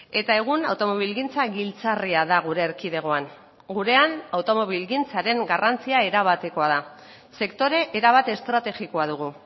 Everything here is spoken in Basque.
eta egun automobilgintza giltzarria da gure erkidegoan gurean automobilgintzaren garrantzia erabatekoa da sektore erabat estrategikoa dugu